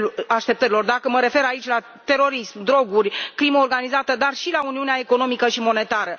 așteptărilor dacă mă refer aici la terorism, droguri, crimă organizată, dar și la uniunea economică și monetară.